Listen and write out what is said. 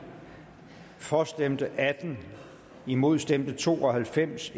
for stemte atten imod stemte to og halvfems